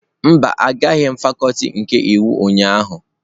Mba, agaghị m fakuti nke iwu ụnyahụ.